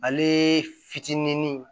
Ale fitinin